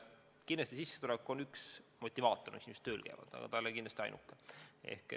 Kindlasti on sissetulek üks motivaator, miks inimesed tööl käivad, aga see ei ole ainuke.